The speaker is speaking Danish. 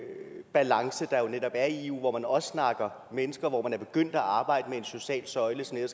balance der jo netop er i eu hvor man også snakker mennesker og hvor man er begyndt at arbejde med en social søjle som